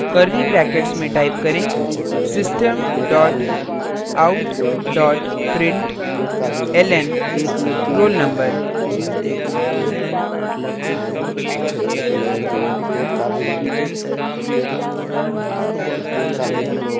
curly brackets में type करें system dot out dot println roll _ number